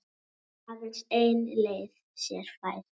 Aðeins ein leið sé fær.